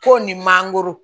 Ko ni mangoro